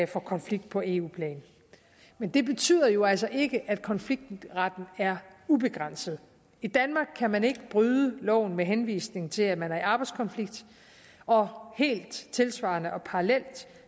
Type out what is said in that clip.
for konflikt på eu plan men det betyder jo altså ikke at konfliktretten er ubegrænset i danmark kan man ikke bryde loven med henvisning til at man er i arbejdskonflikt og helt tilsvarende og parallelt